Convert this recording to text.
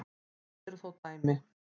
Þess eru þó dæmi.